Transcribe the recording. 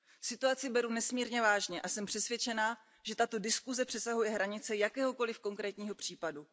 Situaci beru nesmírně vážně a jsem přesvědčena, že tato diskuse přesahuje hranice jakéhokoliv konkrétního případu.